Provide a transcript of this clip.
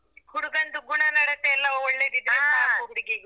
ಹುಡುಗಂದು ಗುಣನಡತೆ ಎಲ್ಲ ಹುಡುಗಿಗೆ.